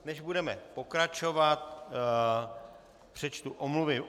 Než budeme pokračovat, přečtu omluvy.